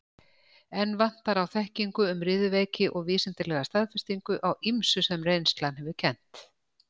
Enn vantar á þekkingu um riðuveiki og vísindalega staðfestingu á ýmsu, sem reynslan hefur kennt.